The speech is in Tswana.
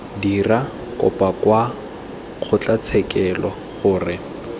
dira kopo kwa kgotlatshekelo gore